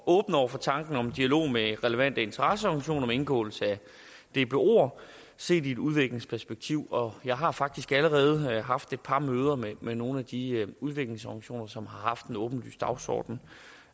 åben over for tanken om en dialog med relevante interesseorganisationer om indgåelse af dboer set i et udviklingsperspektiv og jeg har faktisk allerede haft et par møder med med nogle af de udviklingsorganisationer som har haft en åbenlys dagsorden